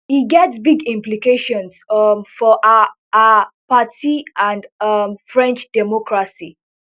e get big implications um for her her party and um french democracy